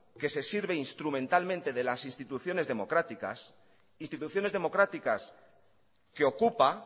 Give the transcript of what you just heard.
que se sirve instrumentalmente de las instituciones democráticas que ocupa